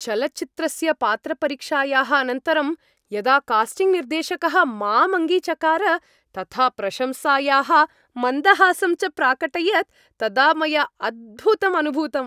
चलच्चित्रस्य पात्रपरीक्षायाः अनन्तरं यदा कास्टिङ्ग् निर्देशकः माम् अङ्गीचकार तथा प्रशंसायाः मन्दहासं च प्राकटयत् तदा मया अद्भुतम् अनुभूतम्।